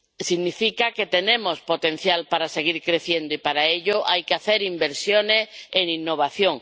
Significa que tenemos potencial para seguir creciendo y, para ello, hay que hacer inversiones en innovación.